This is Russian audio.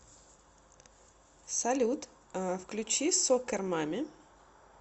салют включи соккер мамми